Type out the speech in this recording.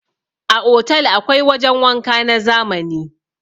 A Otal akwai wajan wanka na zamani.